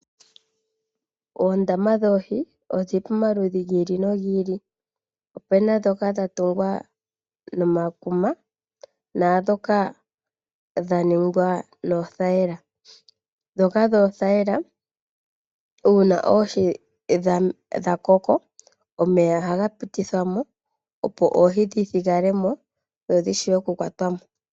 Oondama dhoohi odhi li pamaludhi gi ili nogi ili. Opu na ndhoka dha tungwa nekuma, naandhika dha ningwa noothayila. Ndhoka dhoothayila, shampa oohi dha koko, omeya ohaga pitithwa mo, opo oohi dhi thigale mo.